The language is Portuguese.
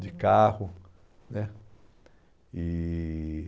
De carro né. E